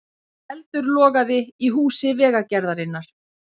Eldur logaði í húsi Vegagerðarinnar